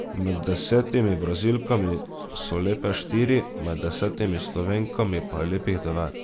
Med desetimi Brazilkami so lepe štiri, med desetimi Slovenkami pa je lepih devet.